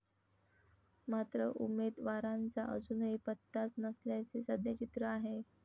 मात्र, उमेदवारांचा अजूनही पत्ताच नसल्याचे सध्या चित्र आहे.